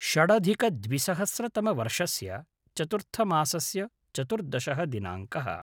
षडधिकद्विसहस्रतमवर्षस्य चतुर्थमासस्य चतुर्दशः दिनाङ्कः